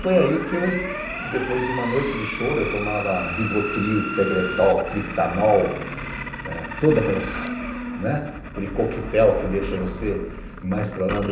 Foi aí que eu, depois de uma noite de choro, eu tomava Rivotril, Tegretol, Triptanol, todo aquelas né, aquele coquetel que deixa você mais para lá do...